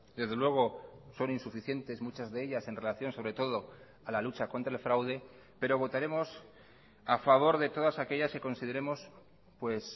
desde luego son insuficientes muchas de ellas en relación sobre todo a la lucha contra el fraude pero votaremos a favor de todas aquellas que consideremos pues